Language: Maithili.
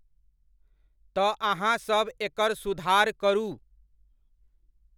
तऽ अहाँसभ एकर सुधार करू।